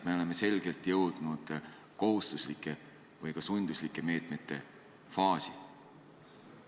Me oleme selgelt jõudnud kohustuslike või ka sunduslike meetmete faasi.